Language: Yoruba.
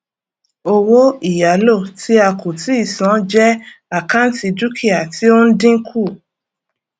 owó ìyálò ti a kò tíì san jẹ àkáǹtì dúkìá tí ó ń dínkù